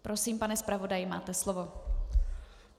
Prosím, pane zpravodaji, máte slovo.